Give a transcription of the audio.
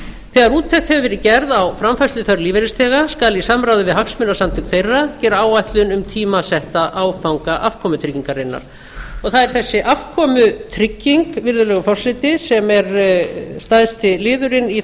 þegar úttekt hefur verið gerð á framfærsluþörf lífeyrisþega skal í samráði við hagsmunasamtök þeirra gera áætlun um tímasetta áfanga afkomutryggingarinnar og það er þessi afkomutrygging virðulegur forseti sem er stærsti liðurinn í